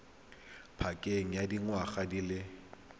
pakeng ya dingwaga di le